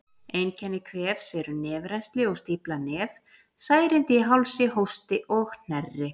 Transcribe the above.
Einkenni kvefs eru nefrennsli og stíflað nef, særindi í hálsi, hósti og hnerri.